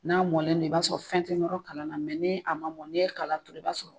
N'a mɔnnen don i b'a sɔrɔ fɛn tɛ nɔrɔ kala la, mɛ ni a ma mɔn n'i ye kala don i b'a sɔrɔ